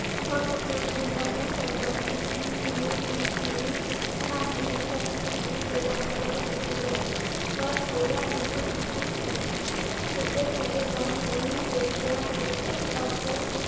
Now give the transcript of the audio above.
ਅਸਫ਼ਲ ਰਹਿੰਦਾ ਉਹ ਚੁਹੰਦਾ ਸੀ ਕਿ ਸੁਨੀਲ ਵੀ ਕਿਵੇਂ ਨਾ ਕਿਵੇਂ ਫੈਕਟਰੀ ਵਿਚੋਂ ਬਾਹਰ ਕੱਢ ਦਿੱਤਾ ਜਾਵੇ ਪਰ ਹੋਇਆ ਇਸਦੇ ਉੱਲਟ। ਉਸਦੇ ਚੰਗੇ ਕੰਮ ਨੂੰ ਵੇਖਦਿਆਂ ਹਰ ਇੱਕ ਅਫ਼ਸਰ,